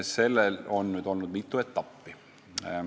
Sellel lahendusel on olnud mitu etappi.